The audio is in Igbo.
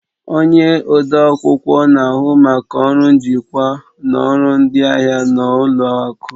Onye odeakwụkwọ na-ahụ maka ọrụ nchịkwa na ọrụ ndị ahịa na ụlọ akụ